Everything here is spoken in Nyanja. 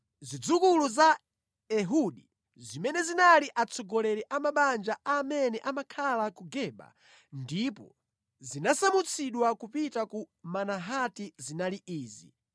Zidzukulu za Ehudi, zimene zinali atsogoleri a mabanja a amene amakhala ku Geba ndipo zinasamutsidwa kupita ku Manahati zinali izi: